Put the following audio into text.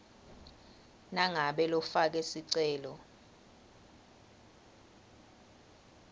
nangabe lofake sicelo